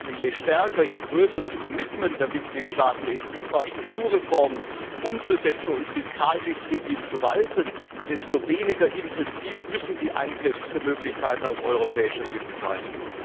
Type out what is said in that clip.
Das heißt also, je stärker, je größer das Commitment der Mitgliedstaaten ist, etwa Strukturreformen umzusetzen und Fiskaldisziplin walten zu lassen, desto weniger intensiv müssen die Eingriffsmöglichkeiten auf europäischer Ebene sein.